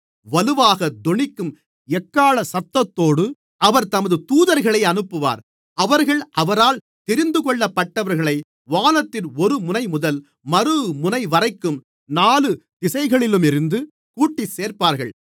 வலுவாகத் தொனிக்கும் எக்காளசத்தத்தோடு அவர் தமது தூதர்களை அனுப்புவார் அவர்கள் அவரால் தெரிந்துகொள்ளப்பட்டவர்களை வானத்தின் ஒருமுனைமுதல் மறுமுனைவரைக்கும் நாலு திசைகளிலுமிருந்து கூட்டிச்சேர்ப்பார்கள்